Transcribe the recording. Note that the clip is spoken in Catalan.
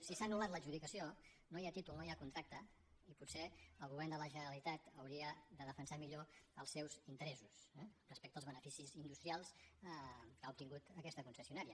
si s’ha anul·lat l’adjudicació no hi ha títol no hi ha contracte i potser el govern de la generalitat hauria de defensar millor els seus interessos eh respecte als beneficis industrials que ha obtingut aquesta concessionària